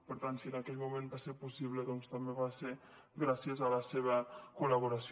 per tant si en aquell moment va ser possible també va ser gràcies a la seva col·laboració